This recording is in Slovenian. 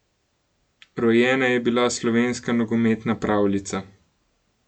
Rojena je bila slovenska nogometna pravljica.